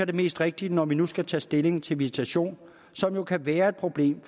det mest rigtige når vi nu skal tage stilling til visitation som jo kan være et problem